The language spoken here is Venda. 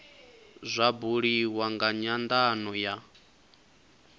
zwa buliwa nga nyandano ya